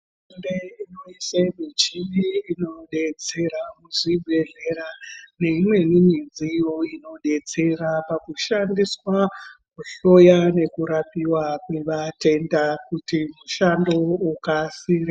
Hurumende inoise michini inodetsera muzvibhedhlera neimweni midziyo inodetsera pakushaniswa pakuhloyiwa nekurapiwa kwevatenda kuti mishando ukasire.